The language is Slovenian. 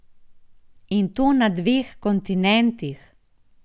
In to na dveh kontinentih!